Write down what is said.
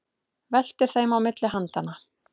Veltir þeim á milli handanna.